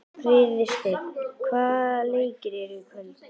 Friðsteinn, hvaða leikir eru í kvöld?